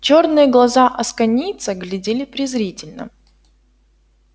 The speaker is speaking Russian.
чёрные глаза асконийца глядели презрительно